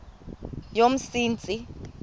yomsintsi